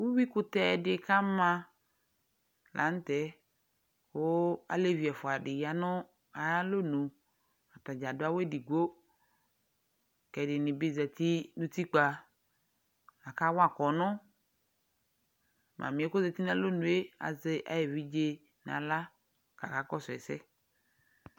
Uyuikʋtɛ dɩ k'ama la nʋtɛ , kʋ alevi ɛfʋadɩ ya nʋ ayalonu; atadza adʋ awʋ edigbo K'ɛdɩnɩ bɩ zati n'utikpa , akawa kpɔnɔ Mamɩɛ k'ozati n'alonue azɛ ay'evidze n'aɣla , k'aka kɔsʋ ɛsɛ